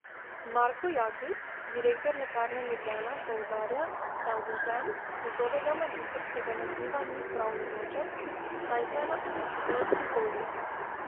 Marko Jaklič, direktor Lekarne Ljubljana, poudarja, da odvzem njegovega magistrskega naziva ni pravnomočen, saj se je na odločitev pritožil.